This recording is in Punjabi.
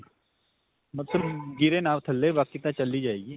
ਮਤਲਬ ਗਿਰੇ ਨਾ ਥੱਲੇ, ਬਾਕੀ ਤਾਂ ਚੱਲ ਹੀ ਜਾਏਗੀ.